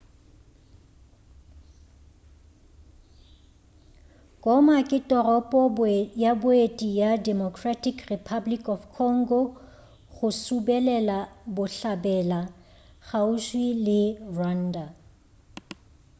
goma ke toropo ya boeti ya democratic republic of congo go subelela bohlabela kgauswi le rwanda